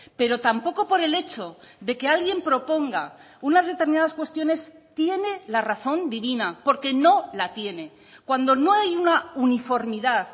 pero tampoco por el hecho de que alguien proponga unas determinadas cuestiones tiene la razón divina porque no la tiene cuando no hay una uniformidad